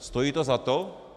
Stojí to za to?